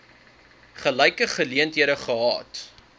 gelyke geleenthede gehad